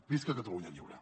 visca catalunya lliure